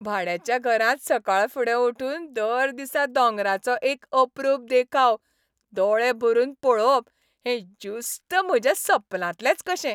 भाड्याच्या घरांत सकाळफुडें उठून दर दिसा दोंगरांचो एक अपरूप देखाव दोळे भरून पळोवप हें ज्युस्त म्हज्या सपनांतलेंच कशें.